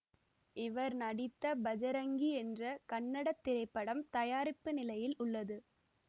இவர் நடித்த பஜரங்கி என்ற கன்னடத் திரைப்படம் தயாரிப்பு நிலையில் உள்ளது